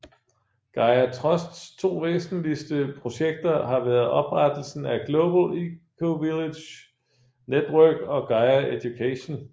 Gaia Trusts to væsentligste projekter har været oprettelsen af Global Ecovillage Network og Gaia Education